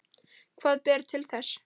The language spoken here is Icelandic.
Hvað ber til þess?